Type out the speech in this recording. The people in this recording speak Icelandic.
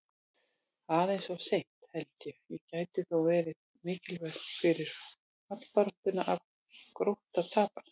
Aðeins of seint, held ég, en gæti þó verið mikilvægt fyrir fallbaráttuna ef Grótta tapar!